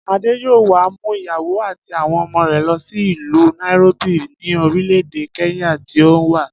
Adé yóò wá mú ìyàwó àti àwo̩n ọmọ rè̩ lo̩ sí ìlú Nairobi ní orílè̩-èdè Kenya tí òun wà